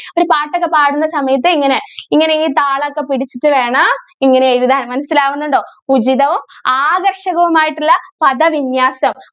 ഒരു പാട്ട് ഒക്കെ പാടുന്ന സമയത്തു ഇങ്ങനെ ഇങ്ങനെ ഈ താളം ഒക്കെ പിടിച്ചിട്ട് വേണം ഇങ്ങനെ എഴുതാൻ മനസിലാകുന്നുണ്ടോ ഉചിതവും ആകർഷകവുമായിട്ടുള്ള പദവിന്യാസം.